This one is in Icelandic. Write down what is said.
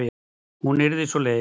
Hún yrði svo leið.